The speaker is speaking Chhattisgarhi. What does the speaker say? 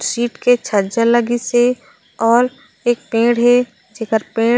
सीट के छज्जा लगिसे और एक पेड़ हे जेकर पेड़--